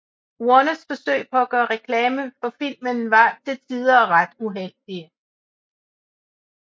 Warners forsøg på at gøre reklame for filmen var til tider ret uheldige